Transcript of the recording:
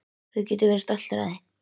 Þú getur verið stoltur af því.